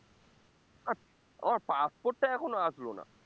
আমার passport টা এখনো আসলো না